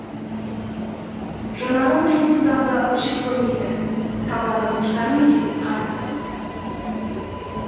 жанарым жұлдыздарды жек көрмейді табаным шыдар ма екен қар басуға